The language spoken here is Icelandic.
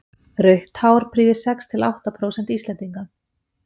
rautt hár prýðir sex til átta prósent íslendinga